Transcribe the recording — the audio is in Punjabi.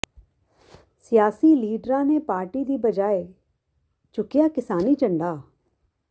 ਸਿਆਸੀ ਲੀਡਰਾਂ ਨੇ ਪਾਰਟੀ ਦੀ ਬਜਾਏ ਚੁੱਕਿਆ ਕਿਸਾਨੀ ਝੰਡਾ